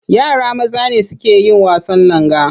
Yara maza ne suke yin wasan langa.